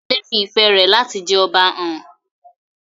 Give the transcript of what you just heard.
Adewale fi ìfẹ́ rẹ̀ láti jẹ Ọba hàn.